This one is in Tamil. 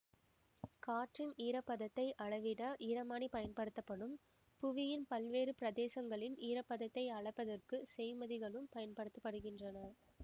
காற்றின் ஈர பதத்தை அளவிட ஈரமானி பயன்படுத்தப்படும் புவியின் பல்வேறு பிரதேசங்களின் ஈர பதத்தை அளப்பதற்குச் செய்ம்மதிகளும் பயன்படுத்த படுகின்றன